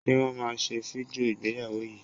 Ṣe Wọ́n máa ṣe fídíò ìgbéyàwó yìí?